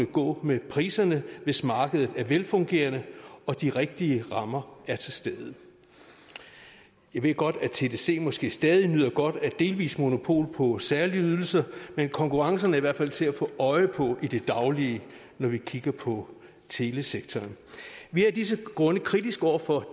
gå med priserne hvis markedet er velfungerende og de rigtige rammer er til stede jeg ved godt at tdc måske stadig nyder godt af et delvist monopol på særlige ydelser men konkurrencen er i hvert fald til at få øje på i det daglige når man kigger på telesektoren vi er af disse grunde kritiske over for